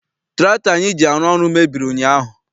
Tụraktọ anyị ji arụ ọrụ mebiri ụnyaahụ.